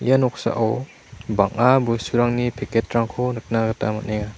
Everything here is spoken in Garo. ia noksao bang·a bosturangni packet-rangko nikna gita man·enga.